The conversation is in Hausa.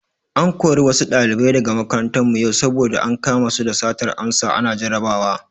An kori wasu ɗalibai daga makarantar mu yau saboda ankama su da satar amsa ana jarabawa.